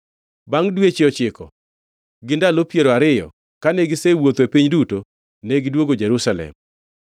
Bangʼ dweche ochiko gi ndalo piero ariyo kane gisewuotho e piny duto, negidwogo Jerusalem.